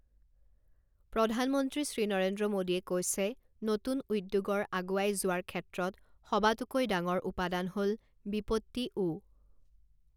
প্ৰধানমন্ত্ৰী শ্ৰী নৰেন্দ্ৰ মোদীয়ে কৈছে, নতুন উদ্যোগৰ আগুৱাই যোৱাৰ ক্ষেত্ৰত সবাতোকৈডাঙৰ উপাদান হ ল, বিপত্তি ও